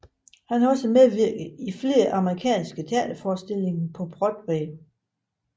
Han har også medvirket i flere amerikanske teaterforestillinger på Broadway